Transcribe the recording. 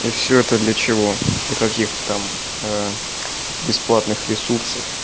и всё это для чего для каких там бесплатных ресурсов